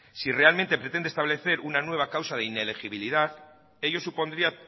si realmente pretende establecer una nueva causa de inelegibilidad ello supondría